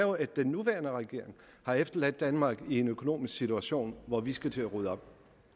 at den nuværende regering har efterladt danmark i en økonomisk situation hvor vi skal til at rydde op